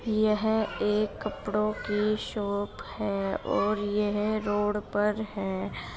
यह एक कपड़ो की शॉप है और यह रोड पर है।